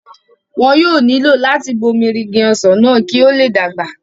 wọn yóò nílò láti bomirin Igi ọsàn náà kí ó le dàgbà